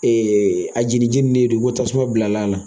A jeli jɛnnen don tasuma bilal'a la